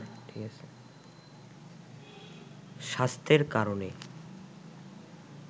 স্বাস্থ্যের কারণে